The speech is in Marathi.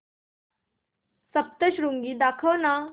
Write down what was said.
सप्तशृंगी दाखव ना